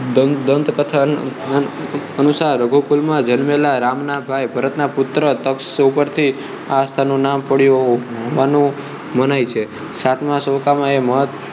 દંતકથાનુસાર રઘુકુલ માં જન્મેલા રામ ના ભાઈ ભરતનાં પુત્ર તક્ષ ઉપરથી આ સ્થળ નું નામ પડ્યું હોવાનું મનાઈ છે સાતમા સૈકામાં મહત્વ ના